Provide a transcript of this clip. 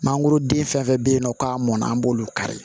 Mangoroden fɛn fɛn bɛ yen nɔ k'a mɔnna an b'olu kari